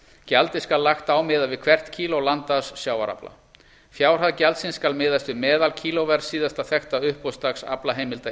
gjaldið skal lagt á miðað við hvert kíló landaðs sjávarafla fjárhæð gjaldsins skal miðast við meðalkílóverð síðasta þekkta uppboðsdags aflaheimilda í